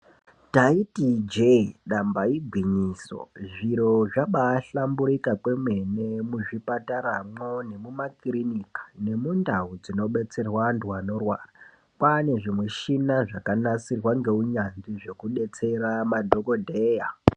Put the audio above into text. Taiti ijee damba igwinyiso zviro zvabaahlamburika kwemene muzvipataramwo nekumakirinika nemundau dzinobetserwa antu anorwara. Kwaane zvimushina zvakanasirwa ngeunyanzvi zvekubetsera madhokodheya.